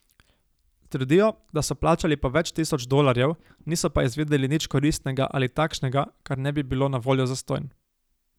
Trdijo, da so plačali po več tisoč dolarjev, niso pa izvedeli nič koristnega ali takšnega, kar ne bi bilo na voljo zastonj.